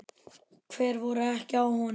Hver voru ekki á honum?